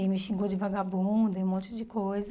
E me xingou de vagabunda e um monte de coisa.